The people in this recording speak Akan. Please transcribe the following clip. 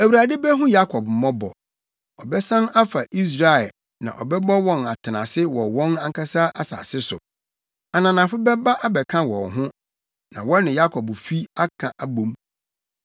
Awurade behu Yakob mmɔbɔ; ɔbɛsan afa Israel na ɔbɛbɔ wɔn atenase wɔ wɔn ankasa asase so. Ananafo bɛba abɛka wɔn ho na wɔne Yakobfi aka abɔ mu.